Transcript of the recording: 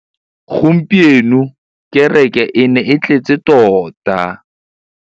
Gompieno kêrêkê e ne e tletse tota.